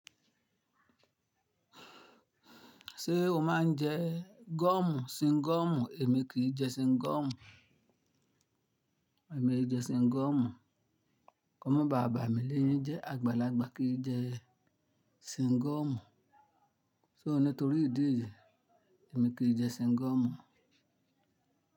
Ṣé o máa ń jẹ gọ́mù, sịngọ́mù? Èmi kì í jẹ sịngọ́mù. Èmi e jẹ sịngọ́mù. Kọ́mọ bà bámi léyín jẹ́ àgbàlagbà kì í jẹ sịngọ́mù. So nítorí ìdí èyí, èmi kì í jẹ sịngọ́mù.